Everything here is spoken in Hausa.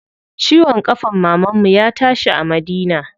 Ciwon ƙafan mamanmu ya tashi a Madina.